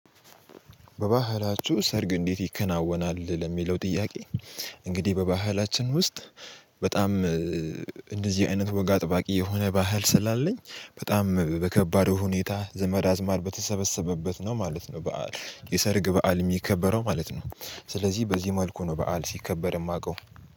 በባህላችሁ ሰርግ እንዴት ይከናወናል ለሚለው ጥያቄ? እንግዲህ በባህላችን ውስጥ። በጣም እንደዚህ አይነት ወግ አጠባቂ የሆነ ባህል ስላለኝ በጣም በከባዱ ሁኔታ ዘመድ አዝማር በተሰበሰበበት ነው ማለት ነው በዓል የሰርግ በዓል የሚከበረው ማለት ነው። ስለዚህ በዚህ መልኩ ነው በዓል ሲከበር የማውቀው